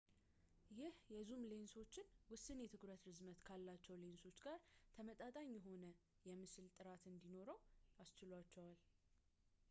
ይህ የዙም ሌንሶችን ውስን የትኩረት ርዝመት ካላቸው ሌንሶች ጋር ተመጣጣኝ የሆነ የምስሎች ጥራት እንዲያወጡ አስችሏቸዋል